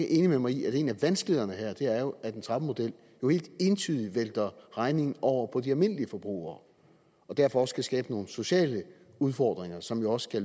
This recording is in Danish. enig med mig i at en af vanskelighederne her er at en trappemodel jo ikke entydigt vælter regningen over på de almindelige forbrugere og derfor også kan skabe nogle sociale udfordringer som jo også